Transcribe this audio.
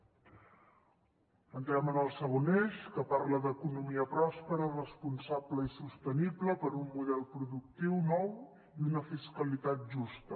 entrem en el segon eix que parla d’economia pròspera responsable i sostenible per a un model productiu nou i una fiscalitat justa